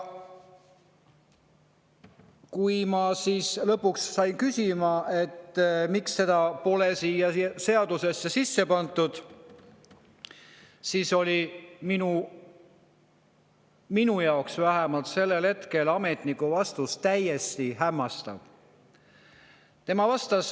Kui ma siis lõpuks küsida sain, miks pole seda siia seadusesse sisse pandud, oli ametniku vastus minu arvates, vähemalt sellel hetkel, täiesti hämmastav.